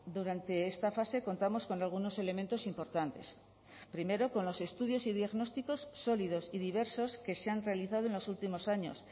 durante esta fase contamos con algunos elementos importantes primero con los estudios y diagnósticos sólidos y diversos que se han realizado en los últimos años